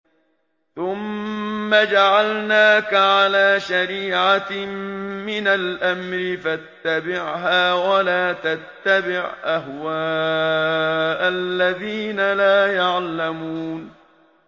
ثُمَّ جَعَلْنَاكَ عَلَىٰ شَرِيعَةٍ مِّنَ الْأَمْرِ فَاتَّبِعْهَا وَلَا تَتَّبِعْ أَهْوَاءَ الَّذِينَ لَا يَعْلَمُونَ